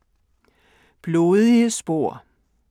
Blodige spor